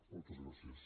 moltes gràcies